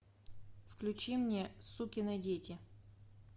включи мне сукины дети